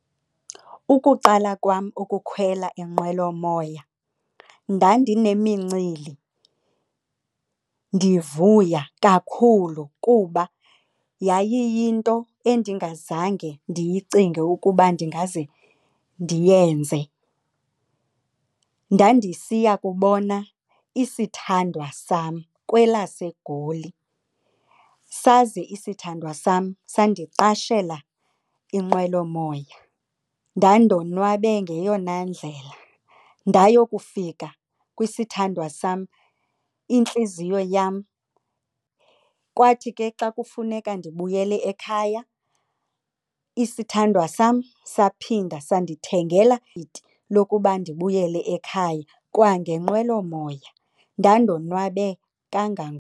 Ukuqala kwam ukukhwela inqwelomoya, ndandinemincili ndivuya kakhulu kuba yayiyinto endingazange ndiyicinge ukuba ndingaze ndiyenze. Ndandisiya kubona isithandwa sam kwelaseGoli saze isithandwa sam sandiqashela inqwelomoya. Ndandoonwabe ngeyona ndlela, ndayokufika kwisithandwa sam, intliziyo yam. Kwathi ke xa kufuneka ndibuyele ekhaya isithandwa sam saphinda sandithengela lokuba ndibuyele ekhaya kwangenqwelomoya ndandonwabe .